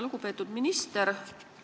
Lugupeetud minister!